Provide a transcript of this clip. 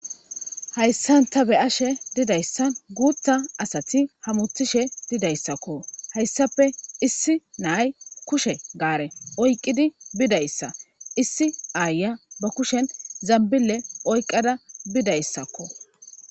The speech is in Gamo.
hayissan taa be'ashe dizayssan guutta asati hamutishe didayssikko. hayissape issi na'ayi kushshe gaare oyiqqidi bidayssa issi aayiya ba kushen zanbille oyqqada bidayissakko.